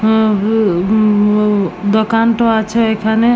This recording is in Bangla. হুম উম হুম উ দোকানটো আছে এখানে ।